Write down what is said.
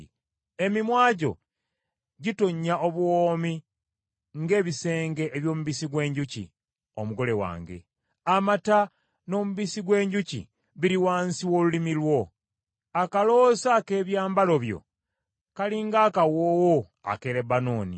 Emimwa gyo gitonnya obuwoomi ng’ebisenge eby’omubisi gw’enjuki, omugole wange; amata n’omubisi gw’enjuki biri wansi w’olulimi lwo. Akaloosa ak’ebyambalo byo kali ng’akawoowo ak’e Lebanooni.